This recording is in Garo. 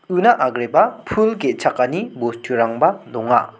una agreba pul ge·chakani bosturangba donga.